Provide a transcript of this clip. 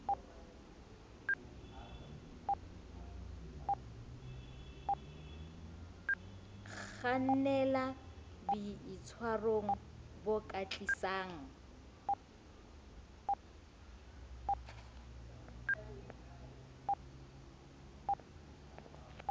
kgannela boitshwarong bo ka tlisang